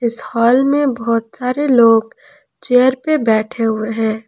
हाल में बहोत सारे लोग चेयर पे बैठे हुए हैं।